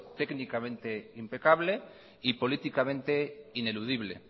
técnicamente impecable y políticamente ineludible